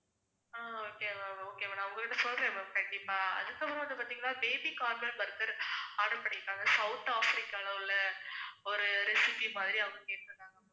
ஆஹ் okay ma'am okay ma'am நான் அவங்க கிட்ட சொல்றேன் ma'am கண்டிப்பா, அதுக்கப்புறம் வந்து பாத்தீங்கன்னா baby corner burger order பண்ணிருக்காங்க சவுத் ஆப்பிரிக்கால உள்ள ஒரு recipe மாதிரி அவங்க கேட்டிருக்காங்க